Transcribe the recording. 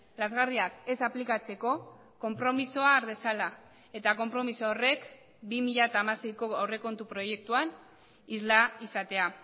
lazgarriak ez aplikatzeko konpromisoa har dezala eta konpromiso horrek bi mila hamaseiko aurrekontu proiektuan isla izatea